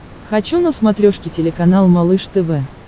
хочу на смотрешке телеканал малыш тв